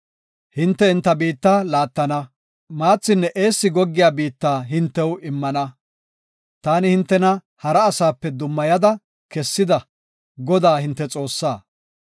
Hinte enta biitta laatana; maathinne eessi goggey biitta hintew immana. Taani hintena hara asaape dummayada kessida, Godaa hinte Xoossaa.